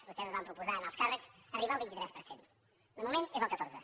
vostès es van proposar en alts càrrecs arribar al vint tres per cent de moment és el catorze